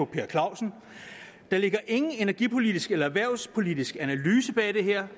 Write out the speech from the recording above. per clausen der ligger ingen energipolitisk eller erhvervspolitisk analyse bag det her